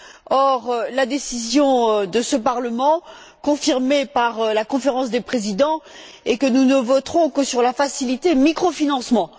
Or, la décision de ce Parlement, confirmée par la Conférence des présidents, est que nous ne voterons que sur la facilité microfinancement.